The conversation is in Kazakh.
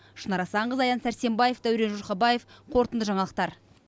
шынар асанқызы аян сәрсенбаев дәурен жұрқабаев қорытынды жаңалықтар